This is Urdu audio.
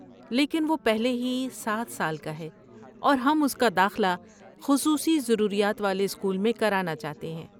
لیکن، وہ پہلے ہی سات سال کا ہے اور ہم اس کا داخلہ خصوصی ضروریات والے اسکول میں کرانا چاہتے ہیں